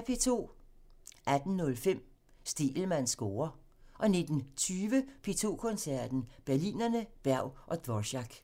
18:05: Stegelmanns score (tir) 19:20: P2 Koncerten – Berlinerne, Berg og Dvorák